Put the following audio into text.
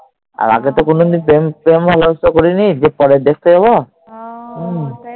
আর আগে তো কোনোদিন প্রেম ভালোবাসা করিনি যে পরে দেখতে যাবো